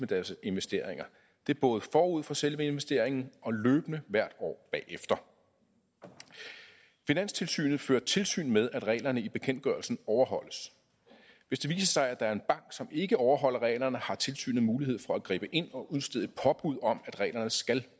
deres investeringer både forud for selve investeringen og løbende hvert år bagefter finanstilsynet fører tilsyn med at reglerne i bekendtgørelsen overholdes hvis det viser sig at der er en bank som ikke overholder reglerne har tilsynet mulighed for at gribe ind og udstede et påbud om at reglerne skal